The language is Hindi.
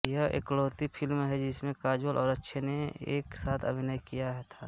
यह इकलौती फिल्म है जिसमें काजोल और अक्षय ने एक साथ अभिनय किया था